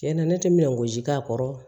Cɛnna ne tɛ min gosi k'a kɔrɔ